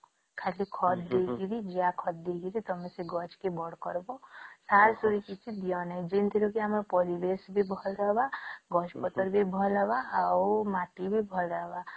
ଖାଲି ଖତ ଦେଇକିରି ଯାହା ଖତ ଦେଇକରି ତମେ ଗଛ କେ ବଡ଼ କରିବା ସାର ସୁରି କିଛି ଦିଅ ନାଇଁ ଯେମିତି ରେ ବି ଆମ ପରିବେଶ ବି ଭଲ ରହିବ ଗଛ ପତ୍ର ବି ଭଲ ରହିବ ଆଉ ମାଟି ବି ଭଲ ରହିବ